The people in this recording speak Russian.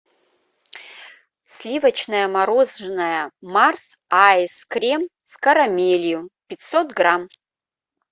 сливочное мороженое марс айс крим с карамелью пятьсот грамм